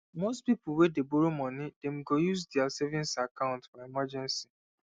most people wey dey borrow money dem go use their saving account for emergency